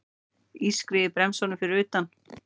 Ískrið í bremsunum fyrir utan.